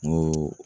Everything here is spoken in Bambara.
N ko